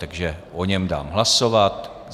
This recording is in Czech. Takže o něm dám hlasovat.